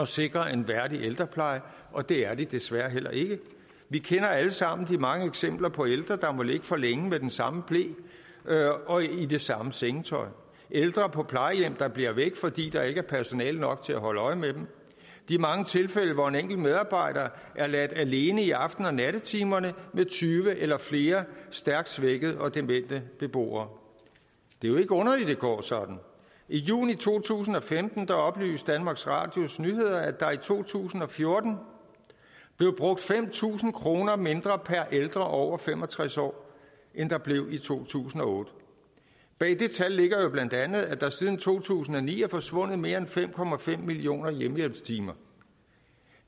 sikre en værdig ældrepleje og det er de desværre heller ikke vi kender alle sammen de mange eksempler på ældre der må ligge for længe med den samme ble og i det samme sengetøj ældre på plejehjem der bliver væk fordi der ikke er personale nok til at holde øje med dem de mange tilfælde hvor en enkelt medarbejder er ladt alene i aften og nattetimerne med tyve eller flere stærkt svækkede og demente beboere det er jo ikke underligt det går sådan i juni to tusind og femten oplyste danmarks radios nyheder at der i to tusind og fjorten blev brugt fem tusind kroner mindre per ældre over fem og tres år end der blev i to tusind og otte bag det tal ligger jo bla at der siden to tusind og ni er forsvundet mere end fem millioner hjemmehjælpstimer